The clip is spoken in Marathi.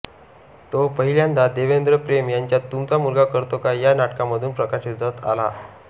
तो पहिल्यांदा देवेंद्र पेम यांच्या तुमचा मुलगा करतो काय या नाटकामधून प्रकाशझोतात आला